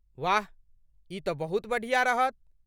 वाह, ई तँ बहुत बढ़िया रहत।